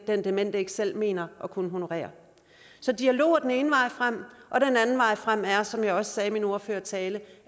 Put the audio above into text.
den demente ikke selv mener at kunne honorere så dialog er den ene vej frem og den anden vej frem er som jeg også sagde i min ordførertale